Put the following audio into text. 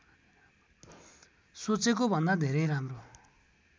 सोचेको भन्दा धेरै राम्रो